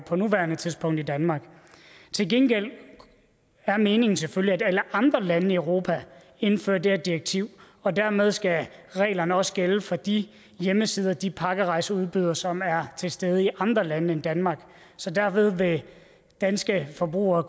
på nuværende tidspunkt i danmark til gengæld er meningen selvfølgelig at alle andre lande i europa indfører det her direktiv og dermed skal reglerne også gælde for de hjemmesider de pakkerejseudbydere som er til stede i andre lande end danmark så derved vil danske forbrugere